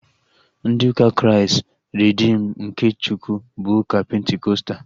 Ndị ụka Kraịst Reedim nke Chukwu bụ ụka pentikọstal